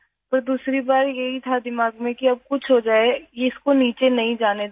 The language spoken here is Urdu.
لیکن دوسری بار میرے ذہن میں یہ بات آئی کہ اب کچھ بھی ہو جائے ، اس کو نیچے نہیں جانے دینا ہے